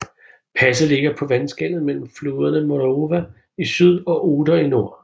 Passet ligger på vandskellet mellem floderne Morava i syd og Oder i nord